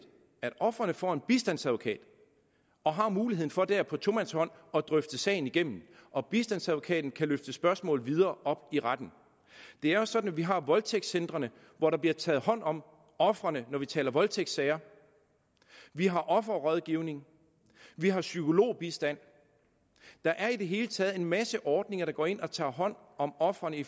at ofrene får en bistandsadvokat og har muligheden for der på tomandshånd at drøfte sagen igennem og bistandsadvokaten kan løfte spørgsmål videre op i retten det er også sådan at vi har voldtægtcentrene hvor der bliver taget hånd om ofrene når vi taler om voldtægtssager vi har offerrådgivning vi har psykologbistand der er i det hele taget en masse ordninger går ind og tager hånd om ofrene i